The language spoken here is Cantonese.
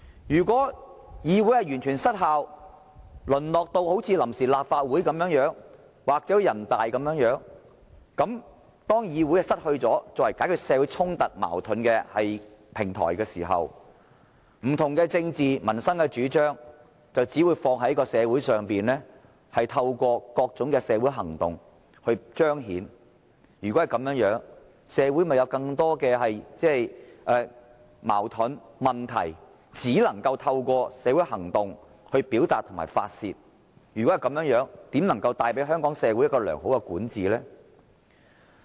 如果議會完全失效，淪落至好像臨時立法會或全國人民代表大會般，當議會不再作為解決社會衝突矛盾的平台時，不同的政治及民生主張只會在社會上透過各種社會行動來彰顯，如果是這樣，社會的矛盾和問題亦只能夠透過社會行動來表達和宣泄，試問這怎能為香港社會帶來良好管治呢？